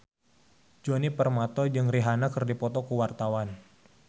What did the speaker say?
Djoni Permato jeung Rihanna keur dipoto ku wartawan